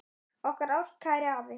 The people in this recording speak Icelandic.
Okkar ástkæri afi.